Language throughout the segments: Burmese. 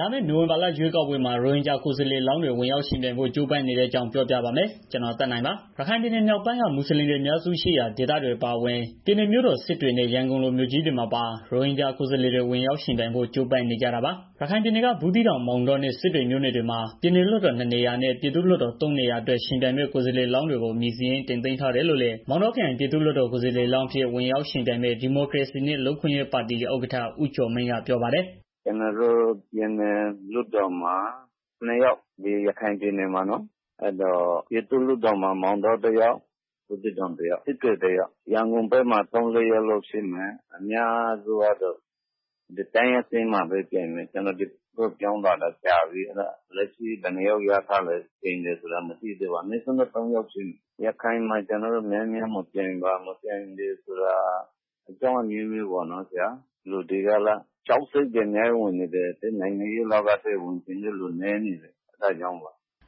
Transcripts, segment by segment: လာမယ့် နိုဝင်ဘာလ ရွေးကောက်ပွဲမှာ ရိုဟင်ဂျာ ကိုယ်စားလှယ်လောင်းတွေ ဝင်ရောက်ယှဉ်ပြိုင်ဖို့ ကြိုးပမ်းနေတဲ့အကြောင်း ပြောပြပါမယ်။ ဗွီအိုအေမြန်မာပိုင်းသတင်းထောက် ကိုသက်နိုင်က သတင်းပေးပို့ထားပါတယ်။ ရခိုင်ပြည်နယ် မြောက်ပိုင်းက မူဆလင်တွေ အများစုရှိရာ ဒေသတွေ အပါအဝင် ပြည်နယ်မြို့တော် စစ်တွေနဲ့ ရန်ကုန်လိုမြို့ကြီးတွေမှာပါ ရိုဟင်ဂျာကိုယ်စားလှယ်တွေ ယှဉ်ပြိုင်ဖို့ ကြိုးပမ်းနေကြတာပါ။ ရခိုင်ပြည်နယ်မြောက်ပိုင်း ဘူးသီးတောင် မောင်တောနဲ့ စစ်တွေမြို့နယ်တွေမှာ ပြည်နယ်လွှတ်တော် ၂ နေရာနဲ့ ပြည်သူ့လွှတ်တော် ၃ နေရာအတွက် ယှဉ်ပြိုင်မယ့် ကိုယ်စားလှယ်လောင်းတွေကို အမည်စာရင်း တင်သွင်းထားတယ်လို့လည်း မောင်တောခရိုင် ပြည်သူ့လွှတ်တော် ကိုယ်စားလှယ်လောင်းအဖြစ် ယှဉ်ပြိုင်မယ့် ဒီမိုကရေစီနဲ့ လူ့အခွင့်ရေးပါတီ ဥက္ကဋ္ဌ ဦးကျော်မင်းက ပြောပါတယ်။ "ကျနော်တို့ ပြည်နယ်လွှတ်တော်မှာ နှစ် ယောက် ဒီရခိုင်ပြည်နယ်မှာနော်။ ပြည်သူ့လွှတ်တော်မှာ မောင်တော တစ်ယောက်၊ ဘူးသီးတောင်တစ်ယောက်၊ စစ်တွေတစ်ယောက် ရန်ကုန်ဘက်မှာတော့ လေးယောက်ရှိမယ်။ အမျာစုကတော့ ဒီတိုင်းအဆင့်မှာပဲ ပြိုင်မယ်။ ကျနော်က ဒီဘက်ရောက်နေတော့ ဘယ်နှစ်ယောက်ရထားလဲ မသိဘူး။ အနည်းဆုံးတော့ သုံးယောက်ဖြစ်မယ်။ ရခိုင်မှာ များများမဲပြိုင်တာက ကြောက်စိတ်တွေ ဝင်ပြီးတော့ နိုင်ငံရေး လောကထဲ ဝင်ချင်တဲ့သူ နည်းနေတယ်။"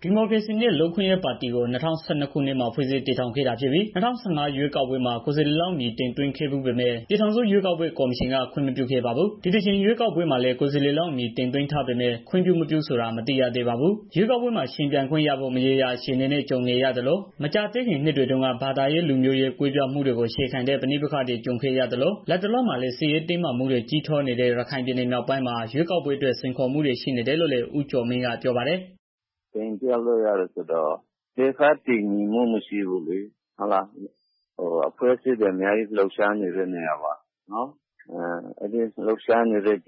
ဒီမိုကရေစီနဲ့ လူ့အခွင့်အရေးပါတီကို ၂၀၁၂ ခုနှစ်မှာ ဖွဲ့စည်းတည်ထောင်ခဲ့တာဖြစ်ပြီး ၂၀၁၅ ရွေးကောက်ပွဲမှာ ကိုယ်စားလှယ်လောင်းအမည် တင်သွင်းခဲ့ဖူးပေမယ့် ပြည်ထောင်စုရွေးကောက်ပွဲ ကော်မရှင်က ခွင့်မပြုခဲ့ပါဘူး။ ဒီတကြိမ်ရွေးကောက်ပွဲမှာလည်း ကိုယ်စားလှယ်လောင်း အမည်စာရင်းတင်သွင်းထားပေမဲ့ ခွင့်ပြု-မပြုဆိုတာ မသိရသေးပါဘူး။ ရွေးကောက်ပွဲမှာ ယှဉ်ပြိုင်ခွင့်ရဖို့ မရေမရာ အခြေအနေနဲ့ ကြုံနေရသလို မကြာသေးခင်နှစ်တွေတုန်းက ဘာသာရေး၊ လူမျိုးရေး ကွဲပြားမှုတွေကို အခြေခံတဲ့ ပဋိပက္ခတွေကြုံခဲ့ရသလို လတ်တလောမှာလည်း စစ်ရေးတင်းမာမှုတွေ ကြီးထွားနေတဲ့ ရခိုင်ပြည်နယ် မြောက်ပိုင်းမှာ ရွေးကောက်ပွဲအတွက် စိန်ခေါ်မှုတွေ ရှိနေတယ်လို့လည်း ဦးကျော်မင်းကပြောပါ တယ်။ "ကျနော်တို့မှာ ဒေသတည်ငြိမ်မှု မရှိဘူးလေ အဖွဲ့အစည်းတွေ အများကြီး လုပ်ရှားနေတာဆိုတော့လေ အဲဒီလို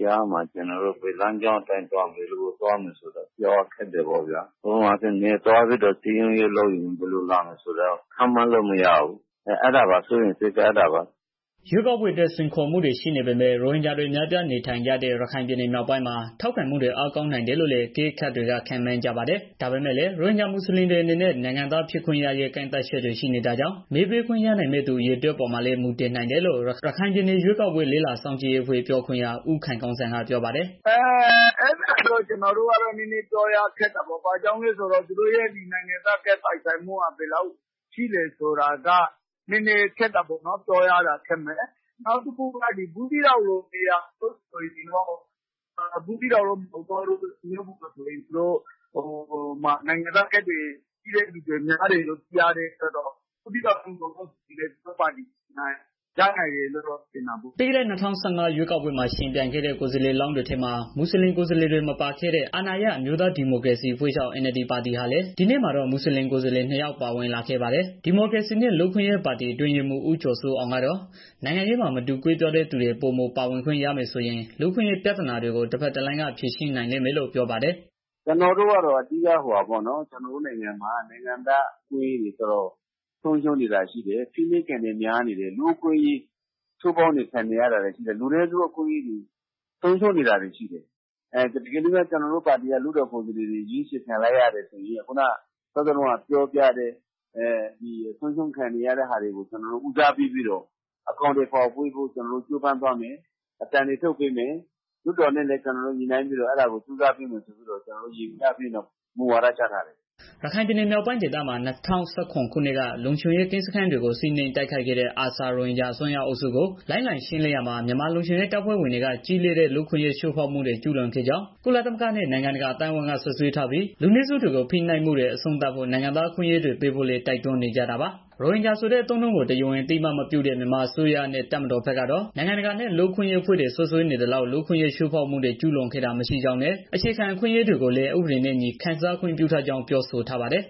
ကြားမှာ ကျနော်တို့ ဘယ်လမ်းကြောင်းအတိုင်း သွားမယ်ဆိုတာ ပြောရခက်တယ်။ ပြောရမယ်ဆိုရင် နယ်ကိုသွားပြီး စည်းရုံးရေး လုပ်မယ်ဆိုရင် ဘယ်လိုလာမယ်ဆိုတာ ပြောလို့မရဘူးလေ။ အဲတာကို စိုးရိမ်တယ်။" ရွေးကောက်ပွဲအတွက် စိန်ခေါ်မှုတွေ ရှိနေပေမဲ့ ရိုဟင်ဂျာတွေ အများအပြားနေထိုင်ကြတဲ့ ရခိုင်ပြည်နယ် မြောက်ပိုင်းမှာ ထောက်ခံမှုတွေ အားကောင်းနိုင်တယ်လို့လည်း အကဲခတ်တွေက ခန့်မှန်းကြပါတယ်။ ဒါပေမဲ့လည်း ရိုဟင်ဂျာမူဆလင်တွေအနေနဲ့ နိုင်ငံသားဖြစ်ခွင့်ရရေး ကန့်သတ်ချက်တွေ ရှိနေတာကြောင့် မဲပေးခွင့်ရနိုင်မယ့်သူ အရေအတွက်အပေါ်မှာလည်း မူတည်နိုင်တယ်လို့ ရခိုင်ပြည်နယ်ရွေးကောက်ပွဲ လေ့လာစောင့်ကြည့်ရေးအဖွဲ့ ပြောခွင့်ရ ဦးခိုင်ကောင်းစံက ပြောပါတယ်။ "အဲတာကတော့ ကျနော်တို့ နည်းနည်း ပြောရခက်တာပေါ့။ ဘာကြောင့်လဲဆိုတော့ သူတို့ရဲ့ ဒီနိုင်ငံသား ကဒ်ပိုင်ဆိုင်မှုက ဘယ်လောက်ထိရှိတယ်ဆိုတာက နည်းနည်းတော့ ခက်တာပေါ့နော်။ ဘူးသီးတောင်နဲ့ မောင်တောဘက်တွေမှာတော့ နိုင်ငံသားကဒ်ရှိတဲ့ သူတွေများတယ်လို့ သိရတဲ့အတွက် အဲဘက်တွေမှာ အနိုင်ရနိုင်တယ်လို့ မြင်တာပေါ့။" ပြီးခဲ့တဲ့ ၂၀၁၅ ရွေးကောက်ပွဲမှာ ယှဉ်ပြိုင်ခဲ့တဲ့ ကိုယ်စားလှယ်လောင်းတွေထဲမှာ မူဆလင်ကိုယ်စားလှယ်တွေ မပါခဲ့တဲ့ အာဏာရ အမျိုးသားဒီမိုကရေစီအဖွဲ့ချုပ် ပါတီဟာလည်း ဒီနှစ်မှာတော့ မူဆလင်ကိုယ်စားလှယ် နှစ် ယောက် ပါဝင်လာခဲ့ပါတယ်။ ဒီမိုကရေစီနဲ့ လူ့အခွင့်ရေးပါတီ အတွင်းရေးမှူး ဦးကျော်စိုးအောင်ကတော့ နိုင်ငံရေးမှာ မတူကွဲပြားတဲ့သူတွေ ပိုမိုပါဝင်ခွင့်ရမယ်ဆိုရင် လူ့အခွင့်အရေး ပြဿနာတွေကို တဘက်တလမ်းက ဖြေရှင်းနိုင်လိမ့်မယ်လို့ ပြောပါတယ်။ "ကျနော်တို့ကတော့ အဓိက မြန်မာနိုင်ငံမှာက လူ့အခွင့်အရေးတွေ တော်တေ်ာဆုံးရှုံးနေတာတွေရှိတယ်။ ဖိနှိပ်ခံတွေများနေတယ်။ လူနည်းစုအခွင့်အရေးတွေ ဆုံးရှုံးနေတာတွေရှိတယ်။ တကယ်လို့များ ကျနော်တို့ ပါတီက လွှတ်တော်ကိုယ်စားလှယ်တွေ ရွေးချယ်ခံလိုက်ရမယ်ဆိုရင် အဲဒီဆုံးရှုံးနေတာတွေကို အကောင် အထည်ဖော်ဆောင်ရွက်ပေးနိုင်မယ် လွှတ်တော်နဲ့လည်း ညှိနိုင်ပြီးတော့ ဆောင်ရွက်သွားမယ်လို့ မူဝါဒ ချမှတ်ထားတယ်။" ရခိုင်ပြည်နယ် မြောက်ပိုင်းဒေသမှာ ၂၀၁၇ ခုနှစ်တုန်းက လုံခြုံရေးကင်းစခန်းတွေကို စီးနင်းတိုက်ခိုက်ခဲ့တဲ့ ARSA ရိုဟင်ဂျာ အစွန်းရောက်အုပ်စုကို လိုက်လံရှင်းလင်းရာမှာ မြန်မာလုံခြုံရေး တပ်ဖွဲ့တွေက ကြီးလေးတဲ့ လူ့အခွင့်အရေး ချိုးဖောက်မှုတွေ ကျုးလွန်ခဲ့ကြောင်း ကုလသမဂ္ဂနဲ့ နိုင်ငံတကာ အသိုင်းအဝန်းက စွပ်စွဲထားပြီး၊ လူနည်းစုတွေကို ဖိနှိပ်မှုတွေ အဆုံးသတ်ဖို့ နိုင်ငံသားအခွင့်အရေးတွေ ပေးဖို့လည်း တိုက်တွန်းနေကြတာပါ။ ရိုဟင်ဂျာဆိုတဲ့ အသုံးအနှုန်းကို တရားဝင် အသိအမှတ်မပြုတဲ့ မြန်မာအစိုးရနဲ့ တပ်မတော်ဘက်ကတော့ နိုင်ငံတကာနဲ့ လူ့အခွင့်အရေး အဖွဲ့တွေက စွပ်စွဲနေသလောက် လူ့အခွင့်အရေး ချိုးဖောက်မှုတွေ ကျုးလွန်ခဲ့တာ မရှိကြောင်းနဲ့ အခြေခံအခွင့်အရေးတွေကိုလည်း ဥပဒေနဲ့အညီ ခံစားခွင့်ပြုထားကြောင်း ပြောဆိုထားပါတယ်